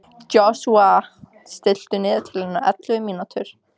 Joshua, stilltu niðurteljara á ellefu mínútur.